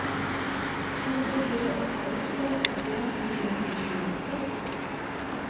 fire fire åtte åtte åttien ni hundre og tjueåtte